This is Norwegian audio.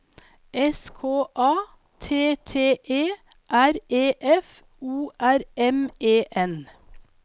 S K A T T E R E F O R M E N